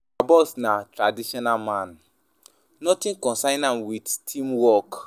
Our boss na traditional man, nothing concern am wit team work.